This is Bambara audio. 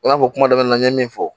I n'a fɔ kuma daminɛ na n ye min fɔ